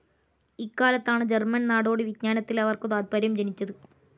ഇക്കാലത്താണ് German നാടോടി വിജ്ഞാനത്തിൽ അവർക്കു താത്പര്യം ജനിച്ചത്.